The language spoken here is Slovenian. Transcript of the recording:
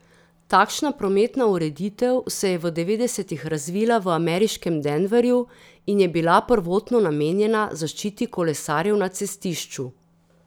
Takšna prometna ureditev se je v devetdesetih razvila v ameriškem Denverju in je bila prvotno namenjena zaščiti kolesarjev na cestišču.